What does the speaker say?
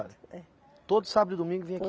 É. Todo sábado e domingo vinha aqui?